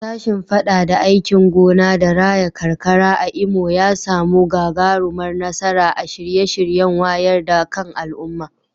Sashen fadada aikin gona da raya karkara a Imo ya samu gagarumar nasara a shirye-shiryen wayar da kan al'umma.